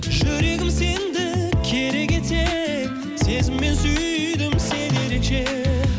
жүрегім сендік керек етсең сезіммен сүйдім сені ерекше